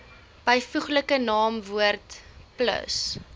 byvoeglike naamwoord plus